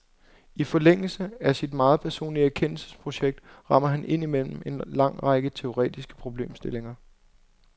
I forlængelse af sit meget personlige erkendelsesprojekt rammer han ind mellem en lang række teoretiske problemstillinger.